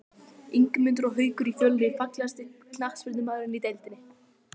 Ingimundur og Haukur í Fjölni Fallegasti knattspyrnumaðurinn í deildinni?